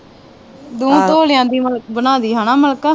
ਦੋਵਾਂ ਤੋਲਿਆ ਦੀ ਬਣਾਦੀ ਹੈਨਾ ਮਲਿਕਾ